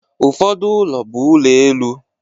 Ụfọdụ ụlọ bụ ụlọ elu